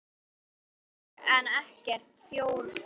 Hann fékk ekkert þjórfé.